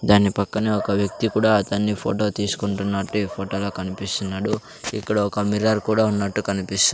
దాని పక్కన ఒక వ్యక్తి కూడా అతని ఫోటో తీసుకుంటున్నట్టు ఈ ఫోటోలో కనిపిస్తునడు ఇక్కడ ఓ మిర్రర్ కూడా ఉన్నట్టు కనిపిస్తు.